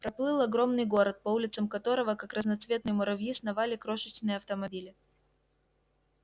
проплыл огромный город по улицам которого как разноцветные муравьи сновали крошечные автомобили